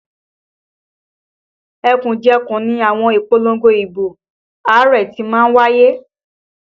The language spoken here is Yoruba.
Ẹkùnjẹkùn ni àwọn ìpolongo ibo Ààrẹ ti má ń wáyé